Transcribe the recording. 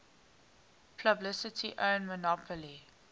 publicly owned monopoly